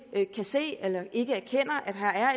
ikke kan se eller ikke erkender at her er